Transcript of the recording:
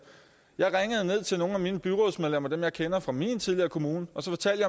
jeg ringede til nogle byrådsmedlemmer som jeg kender fra min tid i kommunen og fortalte